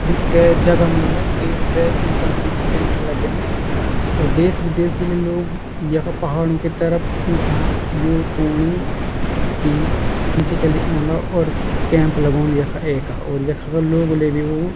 यु के जगह मूंगा कै ट्रैकिंग कंपनी का कैंप लग्याँ और देश विदेश बटीकी लोग यख पहाड़ों की तरफ इथां यु तूणी की खिची चली औंदा और कैंप लगोंदी यख एका और यखा का लोग लेबी वो --